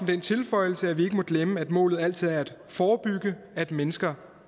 den tilføjelse at vi ikke må glemme at målet altid er at forebygge at mennesker